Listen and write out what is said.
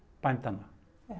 bændanna